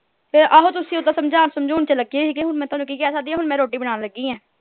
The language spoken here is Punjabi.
ਤੇ ਆਹੋ ਤੁਸੀਂ ਇੱਦਾ ਸਮਝਾਣ ਸਮਝੁਨ ਲੱਗੇ ਸੀਗੇ ਹੁਣ ਮੈਂ ਥੋਨੂੰ ਕਿ ਕਹਿ ਸਕਦੀ ਆ ਹੁਣ ਮੈਂ ਰੋਟੀ ਬਨਾਣ ਲੱਗੀ ਆ